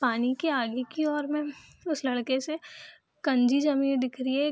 पानी के आगे की ओर में उस लड़के से कंजी ज़मीन दिख रही है।